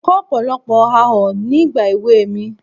Mo kọ́ ọ̀pọ̀lọpọ̀ àọ́ ní ìgbà èwe mi.